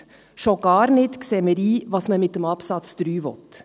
Wir sehen schon gar nicht ein, was man mit Absatz 3 will.